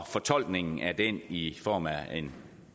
fortolkningen af den i form af